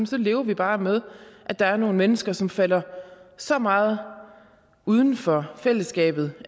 så lever vi bare med at der nogle mennesker som falder så meget uden for fællesskabet